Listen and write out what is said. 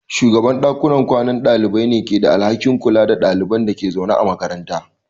Shugaban dakunan kwanan dalibai ne ke da alhakin kula da ɗaliban da ke zaune a makaranta.